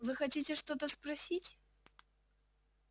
вы хотите что-то спросить